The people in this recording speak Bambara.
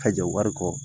Ka jɔ wari kɔ